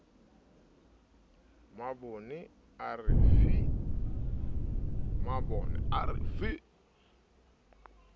mabone a re fi ha